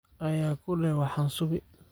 Aya kudhex waxan suubi.